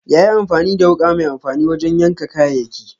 Ya yi amfani da wuka mai amfani wajen yanka kayayyaki.